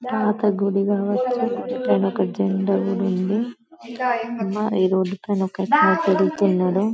పాత గుడి కావచ్చు పైన ఒక జెండా కూడా ఉన్నది ఈ రోడ్డు పైన ఒక అతను తిరుగుతున్నాడు.